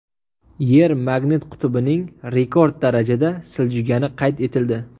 Yer magnit qutbining rekord darajada siljigani qayd etildi.